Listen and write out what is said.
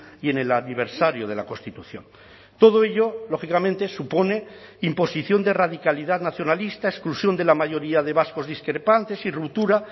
y en el aniversario de la constitución todo ello lógicamente supone imposición de radicalidad nacionalista exclusión de la mayoría de vascos discrepantes y ruptura